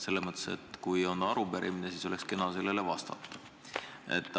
Selles mõttes, et kui on arupärimine, siis oleks kena sellele vastata.